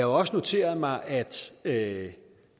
også noteret mig at at